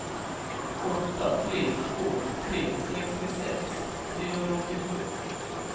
åtta tre två tre sextiosex trehundraåttiosju